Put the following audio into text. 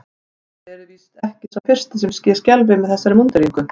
Þér eruð nú víst ekki sá fyrsti sem ég skelfi með þessari múnderingu.